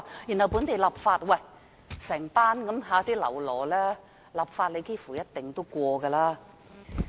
由於有這一班"嘍囉"，立法幾乎是一定通過的。